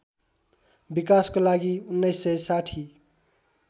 विकासको लागि १९६०